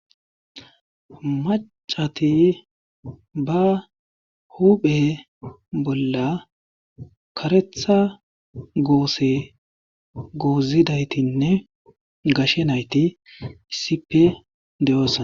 macati ba huphe bolla karetha goose goozidaytinne gashe nayti issipe deyoosa